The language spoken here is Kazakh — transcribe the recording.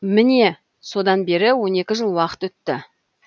мені содан бері он екі жыл уақыт өтті